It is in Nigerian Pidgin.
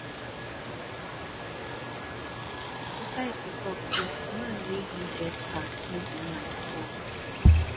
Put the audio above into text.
society talk say man wey no get car no be man at all